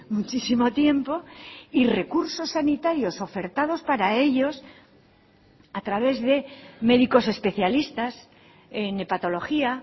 muchísimo tiempo y recursos sanitarios ofertados para ellos a través de médicos especialistas en hepatología